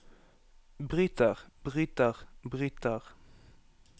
bryter bryter bryter